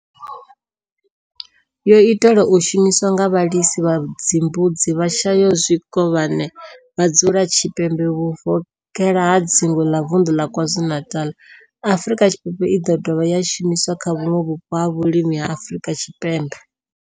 yo itelwa u shumiswa nga vhalisa vha mbudzi vhashayaho zwikovhane vha dzula tshipembe vhuvokhela ha dzingu la Vundu la KwaZulu-Natal, Afrika Tshipembe i do dovha ya shumiswa kha vhuṋwe vhupo ha vhulimi ha Afrika Tshipembe.